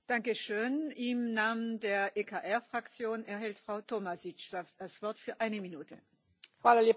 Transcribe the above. Gospođo predsjedavajuća, kvalitetna prometna infrastruktura preduvjet je za stabilan gospodarski rast i razvoj.